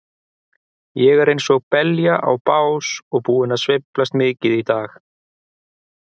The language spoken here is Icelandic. Ég er einsog belja á bás og búinn að sveiflast mikið í dag.